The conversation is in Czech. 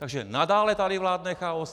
Takže nadále tady vládne chaos.